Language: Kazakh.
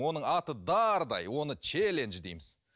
оның аты дардай оны челендж дейміз